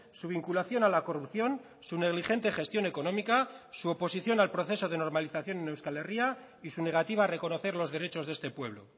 su vinculación a la corrupción su negligente gestión económica su oposición al proceso de normalización en euskal herria y su negativa a reconocer los derechos de este pueblo